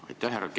Aitäh!